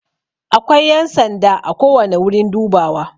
Akwai yan sanda ako wani wurin dubawa.